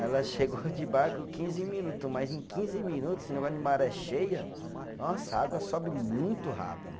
Ela chegou de barco quinze minutos, mas em quinze minutos, esse negócio de maré cheia, nossa, a água sobe muito rápido.